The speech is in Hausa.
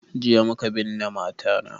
Jiya muka binne mata na